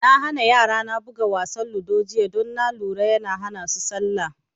Na hana yara na buga wasa ludo jiya don na lura yana hana su salla